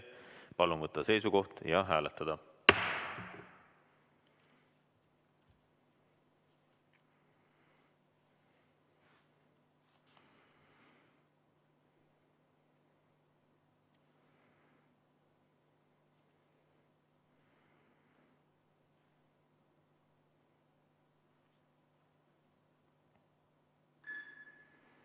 Palun võtta seisukoht ja hääletada!